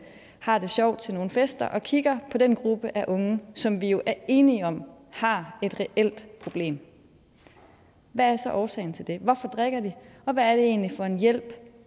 har det sjovt til nogle fester og kigger på den gruppe af unge som vi jo er enige om har et reelt problem hvad er så årsagen til det hvorfor drikker de og hvad er det egentlig for en hjælp